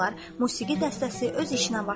Musiqi dəstəsi öz işinə başladı.